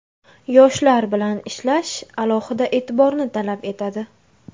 Yoshlar bilan ishlash alohida e’tiborni talab etadi.